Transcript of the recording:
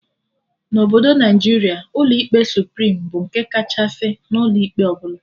Na Obodo Naijiria, ụlọ ikpe Suprim bụ nke kachasị n'ụlọ ikpe ọbụla